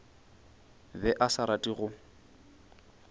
be a sa rate go